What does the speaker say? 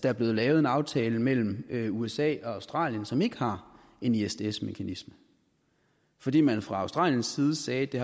er blev lavet en aftale mellem usa og australien som ikke har en isds mekanisme fordi man fra australiens side sagde at det